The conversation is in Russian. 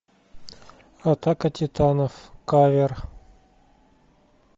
атака титанов кавер